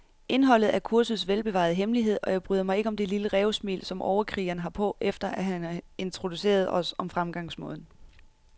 Indholdet er kursets velbevarede hemmelighed, og jeg bryder mig ikke om det lille rævesmil, som overkrigeren har på, efter han har introduceret os om fremgangsmåden.